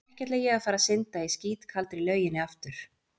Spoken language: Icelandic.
Ekki ætla ég að fara að synda í skítkaldri lauginni aftur.